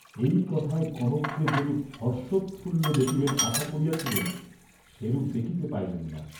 এই কথায় কনককে যেরূপ হর্ষোৎফুল্ল দেখিবেন আশা করিয়াছিলেন, সেরূপ দেখিতে পাইলেন না।